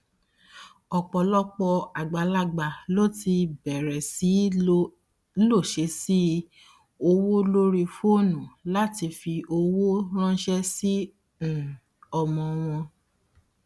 ọpọlọpọ àgbàlagbà ló ti bẹrẹ sí í lò sẹẹsì owó lórí fónù láti fi owó ranṣẹ sí um ọmọ wọn